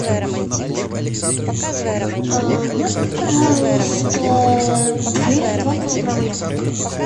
можно пожалуйста две два килограмма яблок